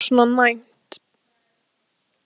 Þetta kerfi er bara svona næmt.